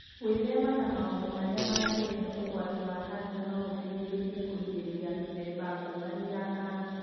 Gwĩthema na maũndu arĩa mangĩrehe ũgwati wa kanca no gũteithie kũrigĩrĩria mĩthemba ngũrani ya kanca.